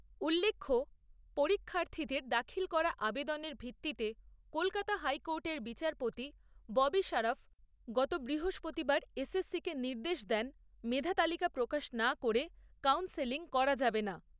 উল্লেখ্য, পরীক্ষার্থীদের দাখিল করা আবেদনের ভিত্তিতে কলকাতা হাইকোর্টের বিচারপতি ববি সারাফ গত বৃহস্পতিবার এসএসসি কে নির্দেশ দেন মেধা তালিকা প্রকাশ না করে কাউন্সেলিং করা যাবে না।